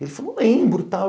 Ele falou, lembro e tal.